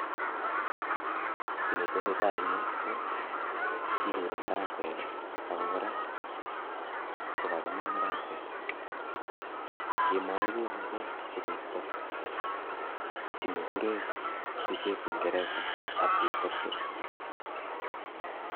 Kiy ne tesetai eng yu ko, kiruri marakwek ako kora ko kakima marakwek, kemae kouni ko sikoisto kiy nekure picheb kingereza aflatoxin.